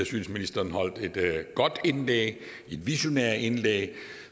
synes ministeren holdt et godt indlæg et visionært indlæg